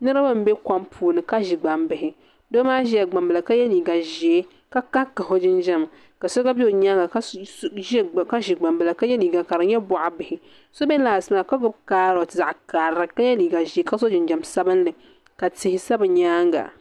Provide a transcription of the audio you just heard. Niriba m be kom puuni ka ʒi gbambihi doo maa ʒila gbambila ka ye liiga ʒee ka kahi kahi o jinjiɛm ka so gba be o nyaanga ka ʒi gbambila ka ye liiga ka di nyɛ boɣa bihi so be laasi maa ka gbibi kaaroti ka ye liiga ʒee ka so jinjiɛm sabinli ka tihi sa bɛ nyaanga.